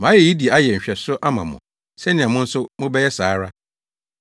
Mayɛ eyi de ayɛ nhwɛso ama mo sɛnea mo nso mobɛyɛ saa ara.